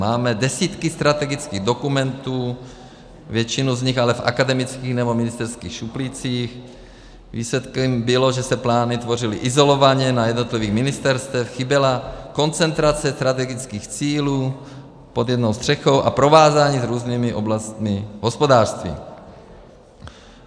Máme desítky strategických dokumentů, většinu z nich ale v akademických nebo ministerských šuplících, výsledkem bylo, že se plány tvořily izolovaně na jednotlivých ministerstvech, chyběla koncentrace strategických cílů pod jednou střechou a provázání s různými oblastmi hospodářství.